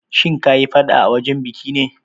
Kin yi faɗa a wajen biki ne?